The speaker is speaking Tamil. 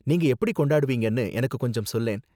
நீங்க எப்படி கொண்டாடுவீங்கனு எனக்கு கொஞ்சம் சொல்லேன்.